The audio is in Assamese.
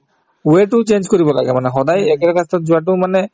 way তো change কৰিব লাগে মানে সদায় একে ৰাস্তাত যোৱাতো মানে